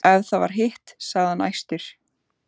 Ef það var hitt, sagði hann æstur: